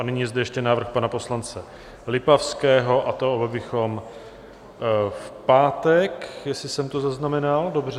A nyní je zde ještě návrh pana poslance Lipavského, a to abychom v pátek, jestli jsem to zaznamenal dobře...